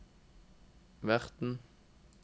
verten